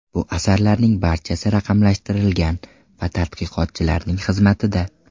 Bu asarlarning barchasi raqamlashtirilgan va tadqiqotchilarning xizmatida.